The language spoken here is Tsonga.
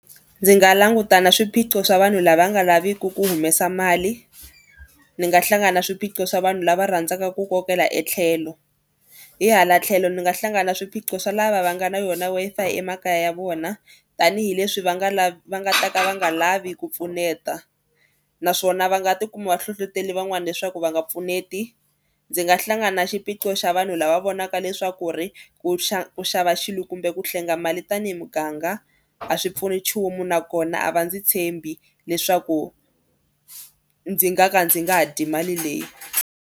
Ndzi nga languta na swiphiqo swa vanhu lava nga laviki ku humesa mali. Ndzi nga hlangana na swiphiqo swa vanhu lava rhandzaka ku kokela etlhelo hi hala tlhelo ni nga hlangana na swiphiqo swa lava va nga na yona Wi-Fi emakaya ya vona tanihileswi va nga lavi va nga ta ka va nga lavi ku pfuneta naswona va nga tikuma va hlohloteli van'wana leswaku va nga pfuneti. Ndzi nga hlangana na xiphiqo xa vanhu lava vonaka leswaku ri ku ku xava xilo kumbe ku hlenga mali tanihi muganga a swi pfuni nchumu nakona a va ndzi tshembi leswaku ndzi nga ka ndzi nga ha dyi mali leyi.